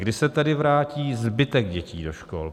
Kdy se tedy vrátí zbytek dětí do škol?